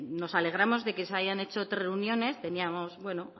nos alegramos de que se hayan hecho tres reuniones teníamos bueno